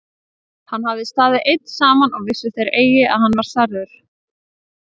Hann hafði staðið einn saman og vissu þeir eigi að hann var særður.